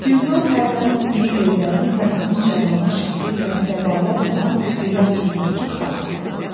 Gülzar hərdən iri gözlərini Fərhadın cavanlıq şəhti ilə ləbaləb olan gözəl üzünə dikib baxırdı.